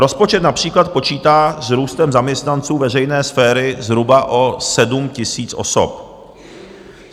Rozpočet například počítá s růstem zaměstnanců veřejné sféry zhruba o 7 000 osob.